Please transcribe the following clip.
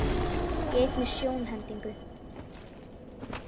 Í einni sjónhendingu